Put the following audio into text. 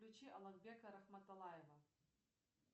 включи аламбека арахматалаева